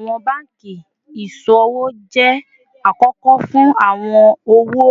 Awọn banki iṣowo jẹ akọkọ fun awọn owo